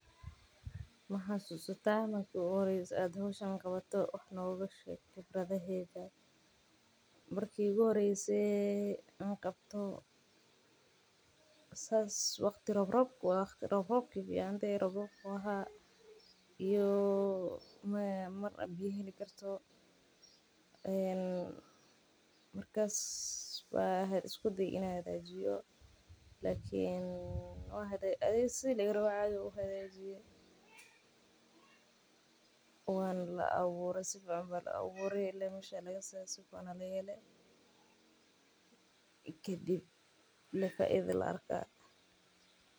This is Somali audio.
Ma xasuusta marki iigu horeyse aad howshan qabato wax nooga sheeg khibradaada marki iigu horeyse aan qabto waqtiga roobroobki ayeey eheed markaas ayaan isku daye inaan hagaajiyo waan abuure sufican.